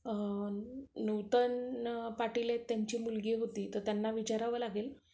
नूतन पाटील आहेत, तर त्यांची मुलगी होती, त्यांनाही विचारावं लागेल